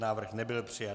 Návrh nebyl přijat.